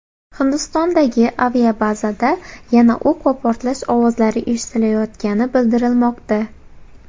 Hindistondagi aviabazada yana o‘q va portlash ovozlari eshitilayotgani bildirilmoqda.